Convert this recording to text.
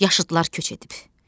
Yaşıdlar köç edib.